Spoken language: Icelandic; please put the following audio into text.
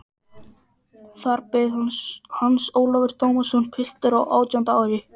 Þar beið hans Ólafur Tómasson, piltur á átjánda ári.